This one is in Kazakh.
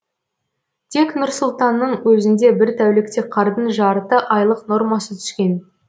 тек нұр сұлтанның өзінде бір тәулікте қардың жарты айлық нормасы түскен